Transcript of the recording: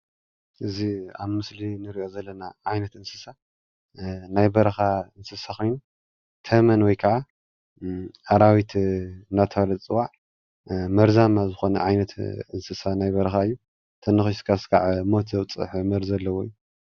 እዚ ኣብ ምስሊ እንሪኦ ዘለና ዓይነት እንስሳ ናይ በረካእንስሳ ኮይኑ ተመን ወይ ከዓ ኣራዊት እናተባሃለ ዝፅዋዕ መርዛማ ዝኮነ ዓይነት ናይ እንስሳ ናይ በረካ እዩ፡፡ እንተ ነኪስካ ክሳብ ሞት ዘብፅሕ መርዚ ኣለዎ እዩ፡፡